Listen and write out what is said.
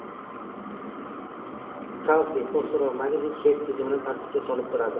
Kalsiy, fosfor va magniy suyak tizimini tartibga solib turadi.